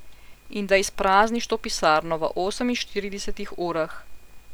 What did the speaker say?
In da izprazniš to pisarno v oseminštiridesetih urah.